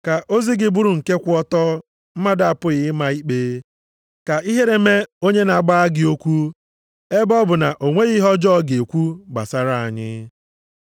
Ka ozi gị bụrụ nke kwụ ọtọ mmadụ apụghị ịma ikpe, ka ihere mee onye na-agbagha gị okwu, ebe ọ bụ na onweghi ihe ọjọọ ọ ga-ekwu gbasara anyị.